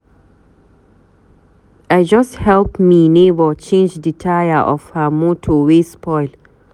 I just help me nebor change di taya of her motor wey spoil.